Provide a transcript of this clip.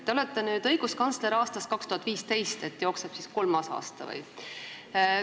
Te olete õiguskantsler aastast 2015, jookseb kolmas aasta.